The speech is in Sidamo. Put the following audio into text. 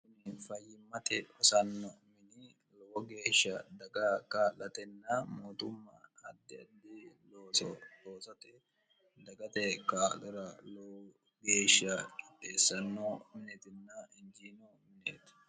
ii fayyimmate hosanno mini lowo geeshsha daga kalatenna mooxumma haddi addhi looso hoosate dagate kaadira lowo geeshsha qipheessanno minitinna hinjiino mineeti